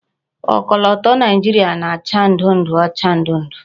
Okoloto Naijiria na-acha ndu-ndu ocha ndu-ndu